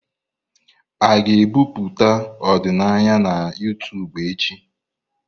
A ga-ebipụta ọdịnaya na YouTubu echi?